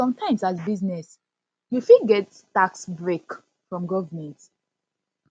sometimes as business you fit get tax break from government